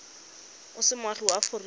o se moagi wa aforika